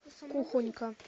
кухонька